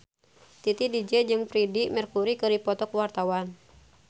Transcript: Titi DJ jeung Freedie Mercury keur dipoto ku wartawan